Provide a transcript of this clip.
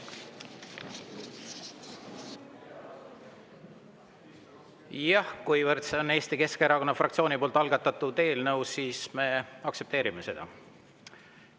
Jah, kuivõrd see on Eesti Keskerakonna fraktsiooni algatatud eelnõu, siis me aktsepteerime seda.